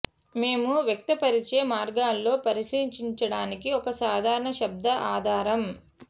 మేము వ్యక్తపరిచే మార్గాల్లో పరిశీలించడానికి ఒక సాధారణ శబ్ద ఆధారం